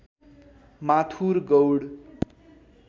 Mathur Gaud